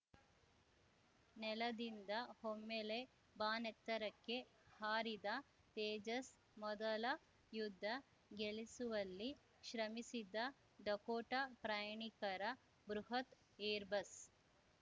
ನೆಲದಿಂದ ಒಮ್ಮೆಲೆ ಬಾನೆತ್ತರಕ್ಕೆ ಹಾರಿದ ತೇಜಸ್‌ ಮೊದಲ ಯುದ್ಧ ಗೆಲಿಸುವಲ್ಲಿ ಶ್ರಮಿಸಿದ ಡಕೋಟ ಪ್ರಯಾಣಿಕರ ಬೃಹತ್‌ ಏರ್‌ಬಸ್‌